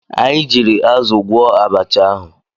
Anyị jiiri azụ gwọọ abacha ahụ.